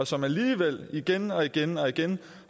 som alligevel igen og igen og igen